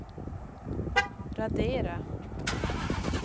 radera